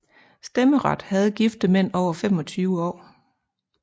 Stemmeret havde gifte mænd over 25 år